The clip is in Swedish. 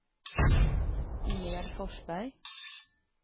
Ingegerd Forsberg